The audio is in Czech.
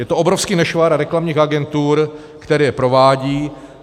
Je to obrovský nešvar reklamních agentur, které je provádí.